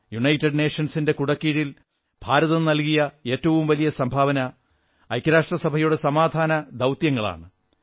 United നേഷൻസിന്റെ കുടക്കീഴിൽ ഭാരതം നല്കിയ ഏറ്റവും വലിയ സംഭാവന ഐക്യരാഷ്ട്രസഭയുടെ സമാധാന ദൌത്യങ്ങളാണ്